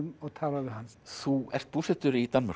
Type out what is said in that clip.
og talar við hann þú ert búsettur í Danmörku